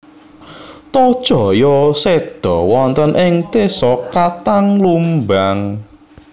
Tohjaya seda wonten ing desa Katang Lumbang